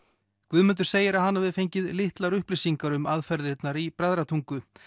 Guðmundur segir að hann hafi fengið litlar upplýsingar um aðferðirnar í Bræðratungu